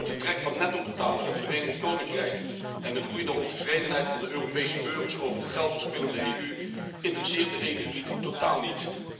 Het vertrek van nettobetaler Verenigd Koninkrijk en de groeiende ontevredenheid van de Europese burgers over de geld verspillende EU interesseert de EU elite totaal niet.